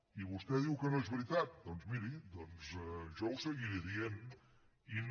i vostè diu que no és veritat doncs miri jo ho seguiré dient i no